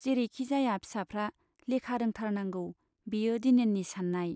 जेरैखि जाया फिसाफ्रा लेखा रोंथारनांगौ बेयो दिनेननि सान्नाय।